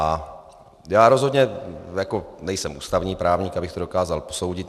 A já rozhodně nejsem ústavní právník, abych to dokázal posoudit.